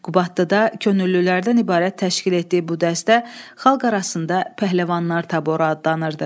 Qubaddıda könüllülərdən ibarət təşkil etdiyi bu dəstə xalq arasında Pəhləvanlar taboru adlanırdı.